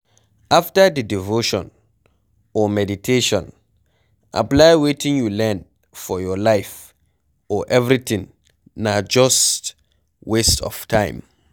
After di devotion or meditation, apply wetin you learn for your life or everything na just waste of time